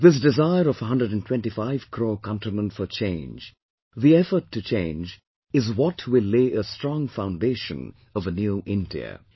This desire of 125 crore countrymen for change, the effort to change, is what will lay a strong foundation of a 'New India'